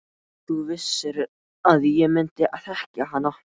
Þú vissir að ég myndi þekkja hana.